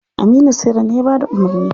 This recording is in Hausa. Aminu saira ne ya bada umarni.